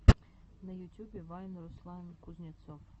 на ютюбе вайн руслан кузнецов